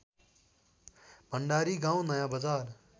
भण्डारी गाउँ नयाँबजार